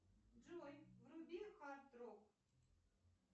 джой вруби хард рок